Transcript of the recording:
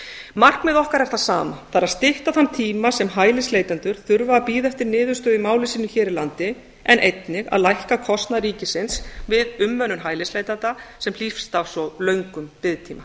markmið okkar er það sama það er að stytta þann tíma sem hælisleitendur þurfa að bíða eftir niðurstöðu í máli sínu hér á landi en einnig að lækka kostnað ríkisins við umönnun hælisleitanda sem hlýst af svo löngum biðtíma